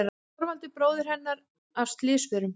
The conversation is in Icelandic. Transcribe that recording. Þorvaldur bróðir hennar af slysförum.